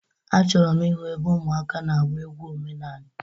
Achọrọ m ịhụ ebe ụmụaka na-agba egwu omenanị.